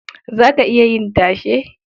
Za ka iya yin tashe?